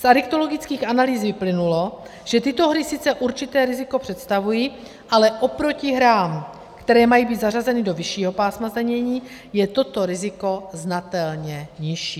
Z adiktologických analýz vyplynulo, že tyto hry sice určité riziko představují, ale oproti hrám, které mají být zařazeny do vyššího pásma zdanění, je toto riziko znatelně nižší.